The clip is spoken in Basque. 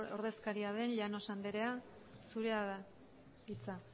ordezkaria den llanos andrea zurea da hitza